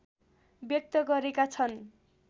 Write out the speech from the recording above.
व्यक्त गरेका छन्